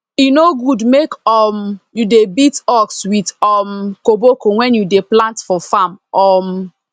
e no good make um you dey beat ox with um koboko wen you dey plant for farm um